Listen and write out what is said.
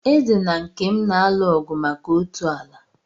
Eze na Nkem na-alụ ọgụ maka otu ala.